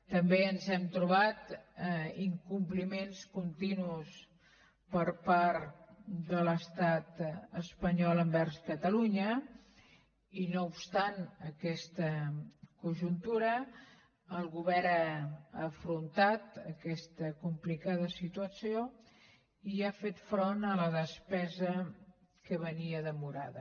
també ens hem trobat incompliments continus per part de l’estat espanyol envers catalunya i no obstant aquesta conjuntura el govern ha afrontat aquesta complicada situació i ha fet front a la despesa que venia demorada